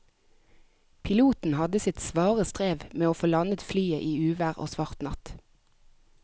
Piloten hadde sitt svare strev med å få landet flyet i uvær og svart natt.